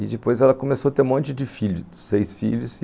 E depois ela começou a ter um monte de filhos, seis filhos.